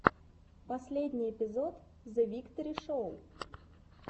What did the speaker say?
последний эпизод зэвикторишоу